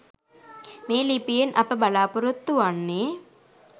මේ ලිපියෙන් අප බලාපොරොත්තු වන්නේ